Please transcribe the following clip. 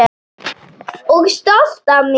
Og stolt af mér.